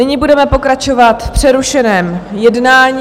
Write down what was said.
Nyní budeme pokračovat v přerušeném jednání.